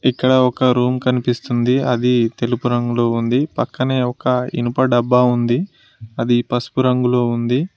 ఇక్కడ ఒక రూమ్ కనిపిస్తుంది అది తెలుపు రంగులో ఉంది పక్కనే ఒక ఇనుప డబ్బా ఉంది అది పసుపు రంగులో ఉంది.